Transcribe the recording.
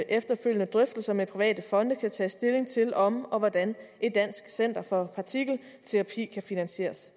efterfølgende drøftelser med private fonde kan tages stilling til om og hvordan et dansk center for partikelterapi kan finansieres